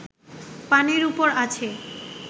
পানির উপর আছে